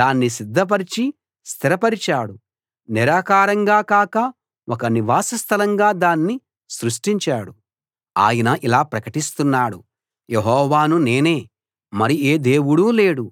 దాన్ని సిద్ధపరచి స్థిరపరిచాడు నిరాకారంగా కాక ఒక నివాసస్థలంగా దాన్ని సృష్టించాడు ఆయన ఇలా ప్రకటిస్తున్నాడు యెహోవాను నేనే మరి ఏ దేవుడూ లేడు